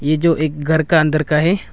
यह जो एक घर का अंदर का है।